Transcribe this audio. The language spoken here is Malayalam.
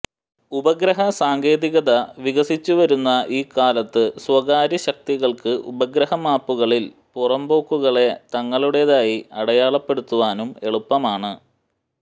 ഉപഗ്രഹസാങ്കേതികത വികസിച്ചുവരുന്ന ഈ കാലത്ത് സ്വകാര്യശക്തികൾക്ക് ഉപഗ്രഹമാപ്പുകളിൽ പുറമ്പോക്കുകളെ തങ്ങളുടേതായി അടയാളപ്പെടുത്തുവാനും എളുപ്പമാണ്